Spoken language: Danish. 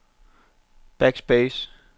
backspace